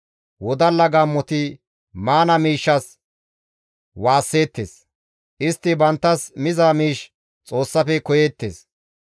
Wodalla gaammoti maana miishshas waasseettes; istti banttas miza miish Xoossafe koyeettes.